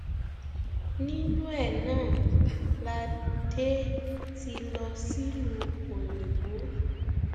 nínú ẹ náà la dé ti lọ sílùú òyìnbó